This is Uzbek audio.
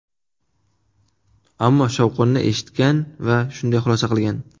Ammo shovqinni eshitgan va shunday xulosa qilgan.